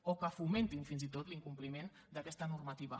o que fomentin fins i tot l’incompliment d’aquesta normativa